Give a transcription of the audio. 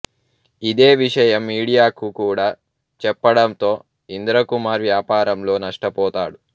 ఇదే విషయం మీడియాకు కూడా చెప్పడంతో ఇంద్రకుమార్ వ్యాపారంలో నష్టపోతాడు